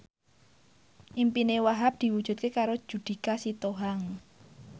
impine Wahhab diwujudke karo Judika Sitohang